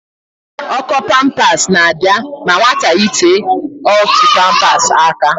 Ọ́kọ́ pampas na-abịa ma nwata yitee otu pampas aka.